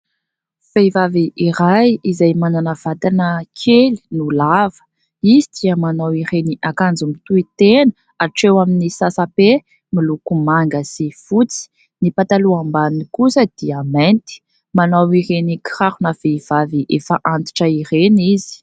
Vehivavy iray izay manana vatana kely no lava izy dia manao ireny akanjo tohy tena hatreo amin'ny sasa-pe, miloko manga sy fotsy, ny pataloha ambany kosa dia mainty ; manao ireny kirarona vehivavy efa antitra ireny izy.